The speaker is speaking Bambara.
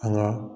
An ka